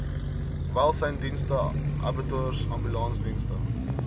welsynsdienste abattoirs ambulansdienste